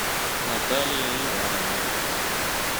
наталья ивановна